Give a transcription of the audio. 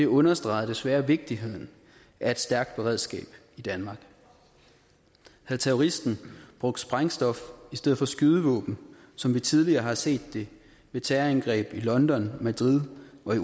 understreger desværre vigtigheden af et stærkt beredskab i danmark havde terroristen brugt sprængstof i stedet for skydevåben som vi tidligere har set det ved terrorangreb i london madrid og i